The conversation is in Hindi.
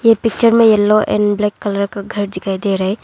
पिक्चर में येलो एंड ब्लैक का घर दिखाई दे रहे है।